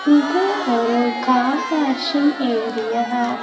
இது ஒரு car washing area .